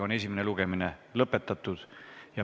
Esimene lugemine on lõpetatud.